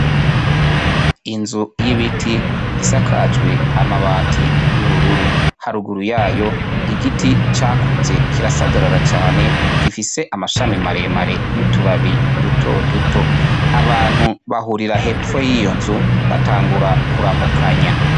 Inzu y'ibiti isakajwe amabati y'ubururu haraguru yayo igiti cakuze kirasagarara cane gifise amashami mare mare n'utubabi duto duto abantu bahurira hepfo yiyo nzu batangura kuramukanya.